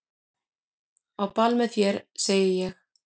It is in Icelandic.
Á ball með þér segi ég.